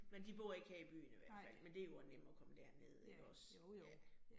Men de bor ikke her i byen i hvert fald, men det jo også nemt at komme derned ikke også, ja